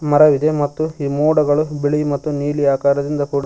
ಮರವಿದೆ ಮತ್ತು ಈ ಮೋಡಗಳು ಬಿಳಿ ಮತ್ತು ನೀಲಿ ಆಕಾರದಿಂದ ಕೂಡಿ--